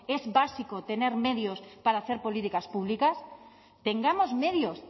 es básico tener medios para hacer políticas públicas tengamos medios